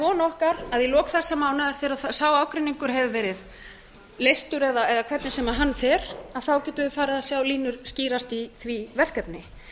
von okkar að í lok þessa mánaðar þegar sá ágreiningur hefur ferð leystur eða hvernig sem hann fer að þá getum við farið að sjá línur skýrast í því verkefni